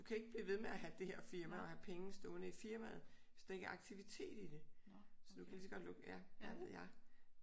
Du kan ikke blive ved med at have det her firma og have penge stående i firmaet hvis der ikke er aktivitet i det. Så du kan lige så godt lukke det. Ja hvad ved jeg